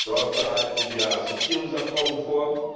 Dort bereiten wir Assoziierungsabkommen vor.